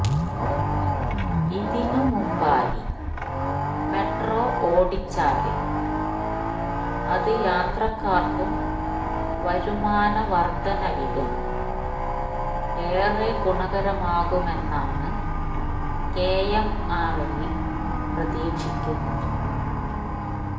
ഇതിന് മുമ്പായി മെട്രോ ഓടിച്ചാല് അത് യാത്രക്കാര്ക്കും വരുമാന വര്ധവിലും ഏറെ ഗുണകരമാകുമെന്നാണ് കെ എം ആര് എല് പ്രതീക്ഷിക്കുന്നത്